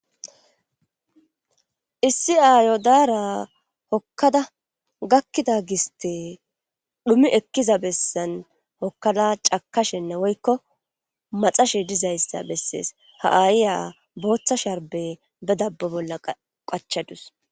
issi aayo daara hokkada gakkida giste dhumi ekkiza bessan hokkada cakashenne woykko maxashe dizayssa bessees ha7ayiya booththa sharbe be dabbo bolla qachadus